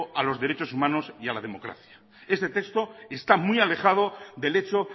a los derecho humanos y a la democracia este texto está muy alejado del hecho